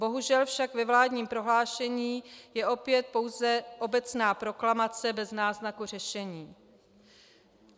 Bohužel však ve vládním prohlášení je opět pouze obecná proklamace bez náznaku řešení.